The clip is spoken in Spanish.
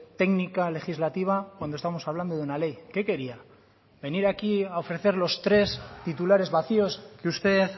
técnica legislativa cuando estamos hablando de una ley qué quería venir aquí a ofrecer los tres titulares vacíos que usted